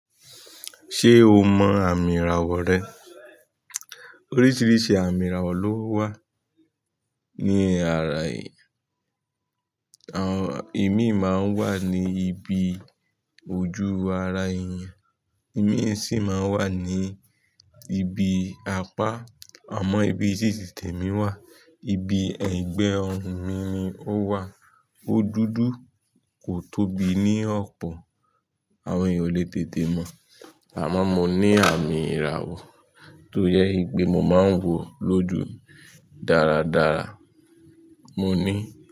Ṣé o mọ àmì ìràwọ̀ rẹ? Oríṣiríṣi àmì ìràwọ̀ ló wà. Ni ara èé, ìmi máa ń wà ní ibi ojú ara èèyàn, ìmi sì máa ń wà ní ibi apá. Àmọ́ ibi tí ti tẹ̀mí wà, ibi ẹ̀gbe ọrùn mi ni ó wà. Ó dúdú kò tóbi ní ọ̀pọ̀. Àwọn ènìyàn o lè tètè mọ̀. Àmọ́n mo ní àmì ìràwọ̀ tóyẹ kí mo máa ń wò lójú dáradára. Mo ní.